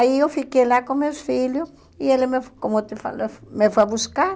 Aí eu fiquei lá com meus filhos e ele, me como eu te falei, me foi buscar.